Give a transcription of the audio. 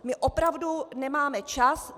My opravdu nemáme čas.